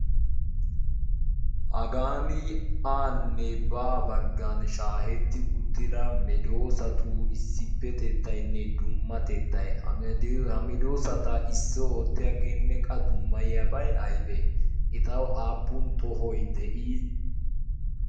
hagan aanne baa baggan shaahetti uttida medoosatu issippetettaynne dummatettay hamedoosata issi oottiyaa geenneqqa dummayiyaabay aybee etawu aappun tohoy de'ii